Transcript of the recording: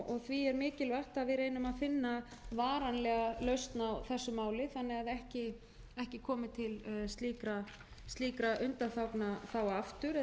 því er mikilvægt að við reynum að finna varanlega lausn á þessu máli þannig að ekki komi til slíkra undanþága aftur eða að